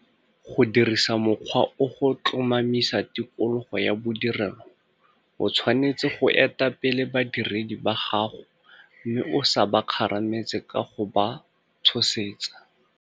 Go dirisa mokgwa o go tlomamisa tikologo ya bodirelo o tshwanetse go eta pele badiredi ba gago mme o sa ba kgarametse ka go ba tshosetsa.